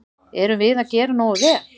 Erum við að gera nógu vel?